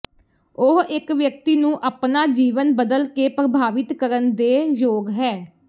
ਉਹ ਇਕ ਵਿਅਕਤੀ ਨੂੰ ਆਪਣਾ ਜੀਵਨ ਬਦਲ ਕੇ ਪ੍ਰਭਾਵਿਤ ਕਰਨ ਦੇ ਯੋਗ ਹੈ